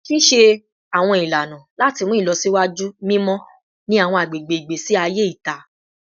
Ṣiṣe awọn ilana lati mu ilọsiwaju mimọ ni awọn agbegbe igbesi aye ita